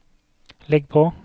legg på